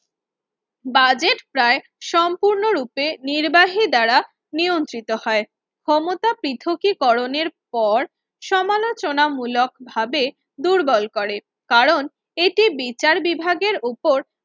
Budget প্রায় সম্পূর্ণরূপে নির্বাহী দ্বারা নিয়ন্ত্রিত হয় ক্ষমতা পৃথকীকরণের পর সমালোচনামূলকভাবে দুর্বল করে কারণ এটি বিচার বিভাগের উপর